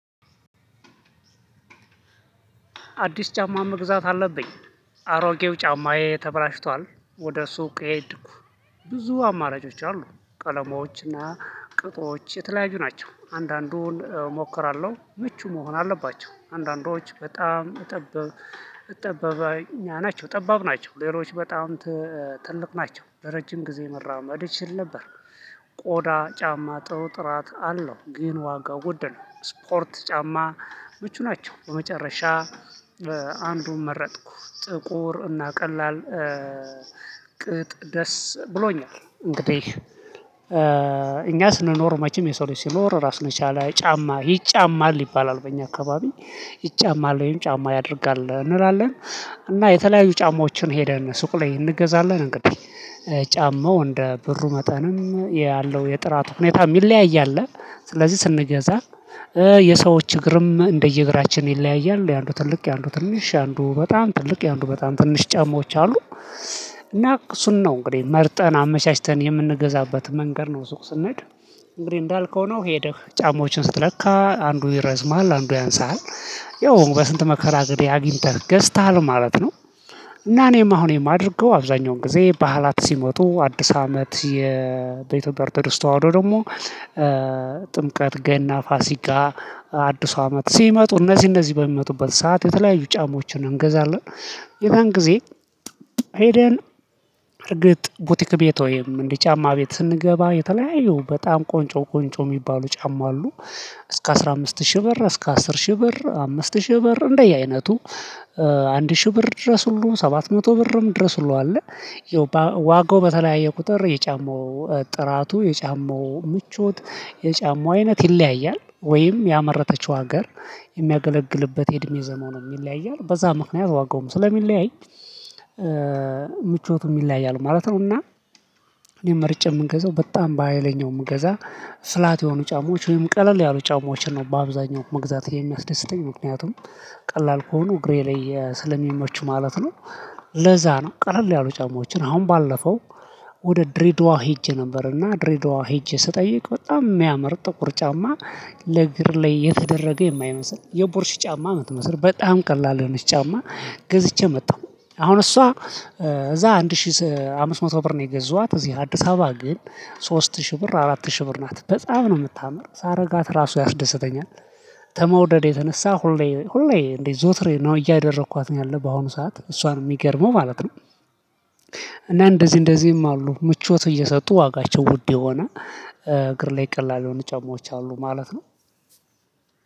አዲስ ጫማ መግዛት አለብኝ። አሮጌው ጫማዬ ተበላሽቷል። ወደ ሱቅ ሄድኩ። ብዙ አማራጮች አሉ ቀለሞች እና ቁጥሮች የተለያዩ ናቸው አንዳንዱን እሞክራለሁ ምቹ መሆን አለባቸው። አንዳንዶች በጣም ጠባብኛ ናቸው ጠባብ ናቸው። ሌሎች በጣም ትልቅ ናቸው። ለረጅም ጊዜ መራመድ እችል ነበር። ቆዳ ጫማ ጥሩ ጥራት አለው። ግን ዋጋው ውድ ነው። ስፖርት ጫማ ምቹ ናቸው። በመጨረሻ አንዱን መረጥኩ ጥቁር እና ቀላል ቅጥ ደስ ብሎኛል። እንግዲህ እኛ ስንኖር መቼም የሰው ልጅ ሲኖር ራሱን የቻለ ጫማ ይጫማል ይባላል። በእኛ አካባቢ ይጫማል ወይም ጫማ ያደርጋል እንላለን። እና የተለያዩ ጫማዎችን ሄደን ሱቅ ላይ እንገዛለን። እንግዲህ ጫማው እንደ ብሩ መጠንም ያለው የጥራቱ ሁኔታ ሚለያይ አለ። ስለዚህ ስንገዛ የሰዎች እግርም እንደየ እግራችን ይለያያሉ የአንዱ ትልቅ የአንዱ ትንሽ የአንዱ በጣም ትልቅ የአንዱ በጣም ትንሽ ጫማዎች አሉ። እና እሱን ነው እንግዲህ መርጠን አመቻችተን የምንገዛበት መንገድ ነው። ስንል እንግዲህ እንዳልከው ነው ሄደህ ጫማዎችን ስትለካ አንዱ ይረዝማል አንዱ ያንሳል። ያው በስንት መከራ አግኝተህ ገዝተሃል ማለት ነው። እና እኔም አሁን የማደርገው አብዛኛውን ጊዜ በዓላት ሲመጡ አዲስ አመት ኦርቶዶክስተዋህዶ ደግሞ ጥምቀት ገና ፋሲጋ አዲስ አመት ሲመጡ እነዚህ እነዚህ በሚመጡበት ሰዓት የተለያዩ ጫማዎችን እንገዛለን። የዛን ጊዜ ሄደን እርግጥ ቡቲክ ቤት ወይም እንዲ ጫማ ቤት ስንገባ የተለያዩ በጣም ቆንጮ ቆንጮ ሚባሉ ጫማ አሉ። እስከ አስራ አምስት ሺህ ብር እስከ አስር ሺህ ብር አምስት ሺህ ብር እንደየ አይነቱ። አንድ ሺህ ብር ድረስ ሁሉ ሰባት መቶ ብርም ድረስ ሁሉ አለ። ዋጋው በተለያየ ቁጥር የጫማው ጥራቱ የጫማው ምቾት የጫማው አይነት ይለያያል ወይም ያመረተችው ሀገር የሚያገለግልበት የእድሜ ዘመኑም ይለያያል በዛ ምክንያት ዋጋውም ስለሚለያይ። ምቾቱም ይለያያሉ ማለት ነው። እና እኔ መርጬ ምንገዛው በጣም በሃይለኛው ምገዛ ፍላት የሆኑ ጫማዎች ወይም ቀለል ያሉ ጫማዎችን ነው በአብዛኛው መግዛት የሚያስደስተኝ ምክንያቱም ቀላል ከሆኑ እግሬ ላይ ስለሚመቹ ማለት ነው። ለዛ ነው ቀለል ያሉ ጫማዎችን አሁን ባለፈው ወደ ድሬዳዋ ሄጄ ነበር። እና ድሬዳዋ ሄጄ ስጠይቅ በጣም ሚያመር ጥቁር ጫማ። ለእግር ላይ የተደረገ የማይመስል የቡርሽ ጫማ ምትመስል በጣም ቀላል የሆነች ጫማ። ገዝቼ መጣሁ። አሁን እሷ እዛ አንድ ሺህ አምስት መቶ ብር ነው። የገዟት እዚህ አዲስ አበባ ግን ሶስት ሺህ ብር አራት ሺህ ብር ናት። በጣም ነው ምታምር ሳረጋት ራሱ ያስደስተኛል። ከመውደዴ የተነሳ ሁሌ ሁሌ እንዴት ዞትሬ ነው እያደረኳት ነው ያለው በአሁኑ ሰዓት እሷን ሚገርመው ማለት ነው። እና እንደዚ እንደዚም አሉ ምቾት እየሰጡ ዋጋቸው ውድ የሆነ እግር ላይ ቀላል የሆኑ ጫማዎች አሉ ማለት ነው።